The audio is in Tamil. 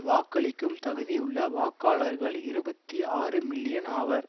வாக்களிக்கும் தகுதியுள்ள வாக்காளர்கள் இருபத்தி ஆறு மில்லியன் ஆவர்